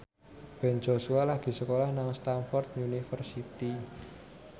Ben Joshua lagi sekolah nang Stamford University